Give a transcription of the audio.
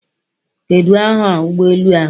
Kedu aha ụgbọ elu ahụ?